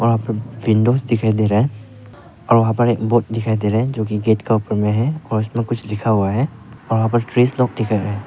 वहां पर विंडोज दिखाई दे रहा है और वहां पर एक बोर्ड दिखाई दे रहा है जोकि गेट का ऊपर में है और उसमें कुछ लिखा हुआ है और वहां लोग--